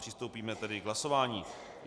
Přistoupíme tedy k hlasování.